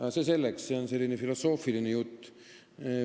Aga see selleks, see on selline filosoofiline jutt.